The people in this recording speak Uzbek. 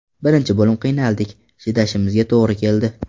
Birinchi bo‘lim qiynaldik, chidashimizga to‘g‘ri keldi.